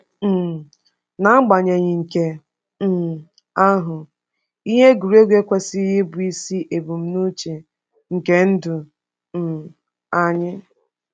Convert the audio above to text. um N’agbanyeghị nke um ahụ, ihe egwuregwu ekwesịghị ịbụ isi ebumnuche nke ndụ um anyị.